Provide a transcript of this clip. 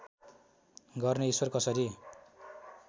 गर्ने ईश्वर कसरी